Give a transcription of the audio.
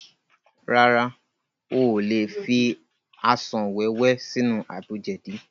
Rárá, o ò lè fi asàn wẹ́wẹ́ sínú àgbo jẹ̀dí